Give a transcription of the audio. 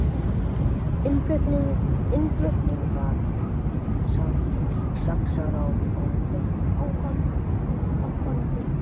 Innflutningur saxar á afganginn